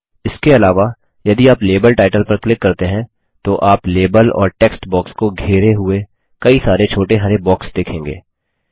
इसके अलावा यदि आप लेबल टाइटल पर क्लिक करते हैं तो आप लेबल और टेक्स्ट बॉक्स को घेरे हुए कई सारे छोटे हरे बॉक्स देखेंगे